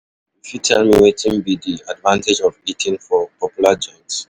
You fit tell me wetin be di advantage of eating of eating for popular joints?